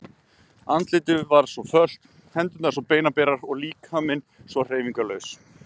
Andlitið var svo fölt, hendurnar svo beinaberar og líkaminn svo hreyfingarlaus.